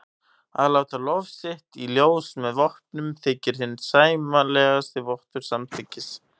Að láta lof sitt í ljós með vopnum þykir hinn sæmilegasti vottur samþykkis.